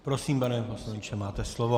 Prosím, pane poslanče, máte slovo.